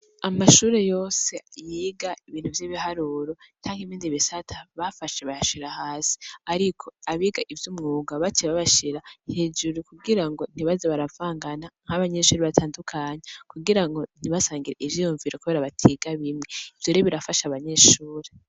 Amashure yose yiga ibintu vy'ibiharuro canke iminzi bisata bafashe bahashira hasi, ariko abiga ivyo umwuga bace babashira hijuru kugira ngo ntibaza baravangana nk'abanyeshuri batandukany kugira ngo ntibasangira ivyoyumvira, kubera batiga bimwe ivyore birafashe abanyeshure.